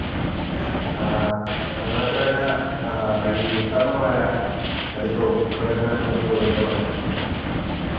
ആ അത് മാത്രം അല്ല ആഹ് ഈ വീട്ടമ്മമാരാ അധികവും ഇരുപത്തിനാല് മണിക്കൂറും ഇതിന്റെ പൊറകേ.